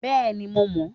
Bẹ́ẹ̀ni, mo mọ n